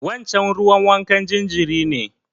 Wancen ruwan wankan jinjirin ne.